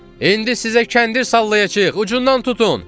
İndi sizə kəndir sallayacağıq, ucundan tutun!